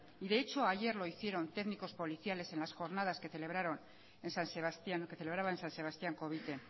de hecho ayer lo hicieron técnicos policiales en las jornadas que celebraron en san sebastián o que celebraba en san sebastián covite